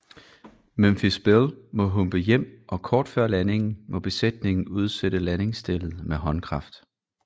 Memphis Belle må humpe hjem og kort før landingen må besætningen udsætte landingsstellet med håndkraft